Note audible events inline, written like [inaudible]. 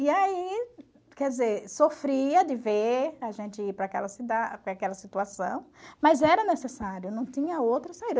E aí, quer dizer, sofria de ver a gente ir para aquela [unintelligible] para aquela situação, mas era necessário, não tinha outra saída.